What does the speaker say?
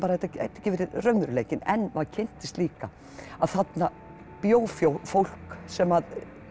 þetta gæti ekki verið raunveruleikinn en maður kynntist líka að þarna bjó fólk sem